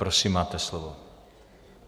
Prosím, máte slovo.